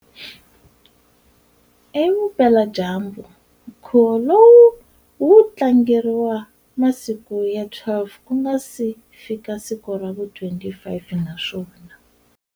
Evupela-dyambu, nkhuvo lowu wu tlangeriwa masiku ya 12 kunga si fika siku ravu 25, naswona.